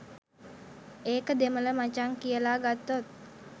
ඒක දෙමළ මචං කියලා ගත්තොත්